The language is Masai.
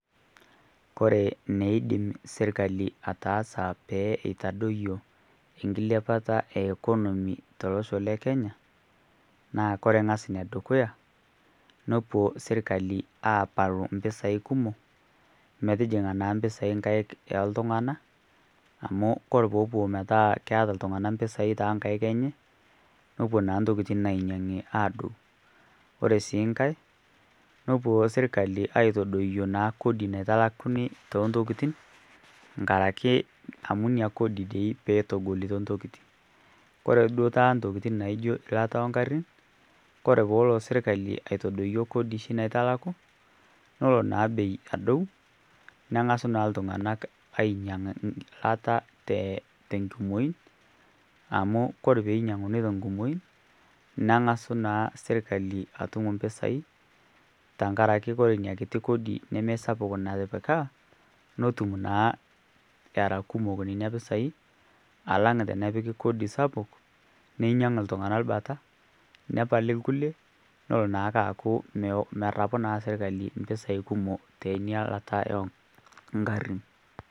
Kore neidim sirkali ataasa pee eitadoyuo enkilepata e economy to losho le Kenya naa kore ng'as ne dukuya nopuo sirkali aapalu mpisai kumok metijing'a naa mpisai nkaik oo ltung'ana amu kore poopuo metaa keata ltung'ana mpisai too nkaik enye nopuo naa ntokitin naainyang'i aadou, kore sii nkae nopuo sirkali aaitodoyuo naa kodi naitalakuni too ntokitin nkaraki amu nia kodi dei peetogolito ntokitin. Kore duo taata ntoiitin naaijio lata ee nkarrin kore poolo sirkali aitodoyuo kodi naa naitalaku nolo naa bei adou neng'asu naa ltung'ana ainyang'u lata to nkumoin amu kore peinyang'uni to nkumoin neng'asu naa sirkali atum mpisai tankaraki kore nia kiti kodi nemeisapuk natipika notum naa era kumok nenia pisai alang' tenepiki kodi sapuk neinyang' ltung'ana lbata nepal lkulie nolo naa aaku merrapu sirkali mpisai kumok tenia lata oo nkarrin.